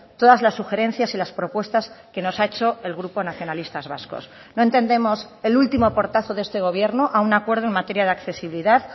todas las sugerencias y las propuestas que nos ha hecho el grupo nacionalistas vascos no entendemos el último portazo de este gobierno a un acuerdo en materia de accesibilidad